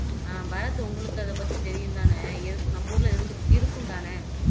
ஆஹ் பரத் அதை பத்தி உங்களுக்கு தெரியும் தானே இரு நம்ம ஊர்ல இருந்து இருக்கும் தானே